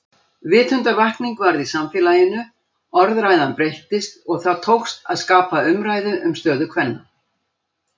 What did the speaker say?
Vitundarvakning varð í samfélaginu, orðræðan breyttist og það tókst að skapa umræðu um stöðu kvenna.